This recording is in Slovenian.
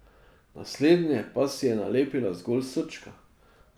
Na slednje pa si je nalepila zgolj srčka.